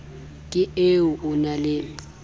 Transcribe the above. ke e o na le